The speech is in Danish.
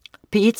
P1: